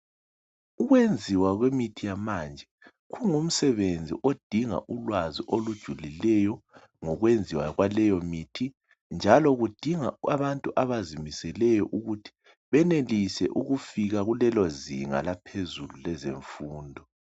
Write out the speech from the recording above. Ukwenziwa kwemithi yamanje kungumsebenzi odinga ulwazi olujulileyo ngokwenziwa kwaleyo mithi njalo kudinga abantu abazimiseleyo ukuthi benelise ukufika kulelozinga laphezulu lezemfundo.